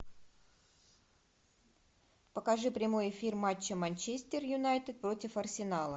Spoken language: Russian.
покажи прямой эфир матча манчестер юнайтед против арсенала